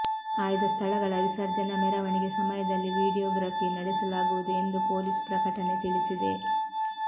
ಆಯ್ದ ಸ್ಥಳಗಳ ವಿಸರ್ಜನಾ ಮೆರವಣಿಗೆ ಸಮಯದಲ್ಲಿ ವೀಡಿಯೋಗ್ರಪಿ ನಡೆಸಲಾಗುವುದು ಎಂದು ಪೊಲೀಸ್ ಪ್ರಕಟಣೆ ತಿಳಿಸಿದೆ